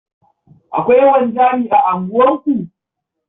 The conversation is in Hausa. Akwai wanzami a unguwarku?